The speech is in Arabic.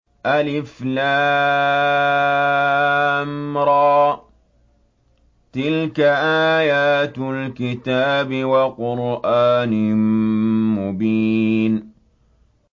الر ۚ تِلْكَ آيَاتُ الْكِتَابِ وَقُرْآنٍ مُّبِينٍ